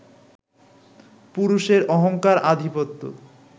পুরুষের অহংকার-আধিপত্য